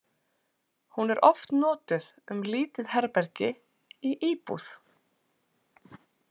Hún er oft notuð um lítið herbergi í íbúð.